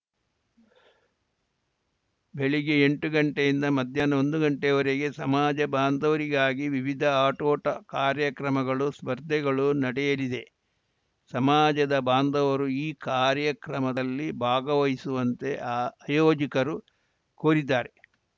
ಬೆಳಿಗ್ಗೆ ಎಂಟು ಗಂಟೆಯಿಂದ ಮಧ್ಯಾಹ್ನ ಒಂದು ಗಂಟೆಯವರೆಗೆ ಸಮಾಜ ಬಾಂಧವರಿಗಾಗಿ ವಿವಿಧ ಆಟೋಟ ಕಾರ್ಯಕ್ರಮಗಳು ಸ್ಪರ್ಧೆಗಳು ನಡೆಯಲಿದೆ ಸಮಾಜದ ಬಾಂಧವರು ಈ ಕಾರ್ಯಕ್ರಮದಲ್ಲಿ ಭಾಗವಹಿಸುವಂತೆ ಆಯೋಜಕರು ಕೋರಿದ್ದಾರೆ